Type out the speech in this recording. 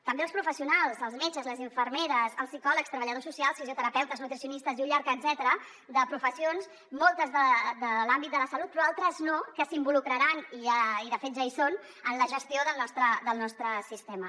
també els professionals els metges les infermeres els psicòlegs treballadors socials fisioterapeutes nutricionistes i un llarg etcètera de professions moltes de l’àmbit de la salut però d’altres no que s’involucraran i de fet ja hi són en la gestió del nostre sistema